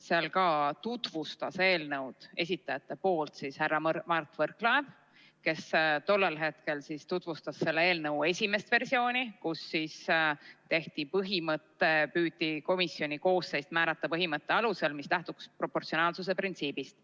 Sealgi tutvustas eelnõu esitajate nimel härra Mart Võrklaev, kes tollel hetkel tutvustas selle eelnõu esimest versiooni, kus püüti komisjoni koosseis määrata põhimõtte alusel, mis lähtub proportsionaalsuse printsiibist.